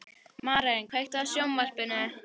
Maren, kveiktu á sjónvarpinu.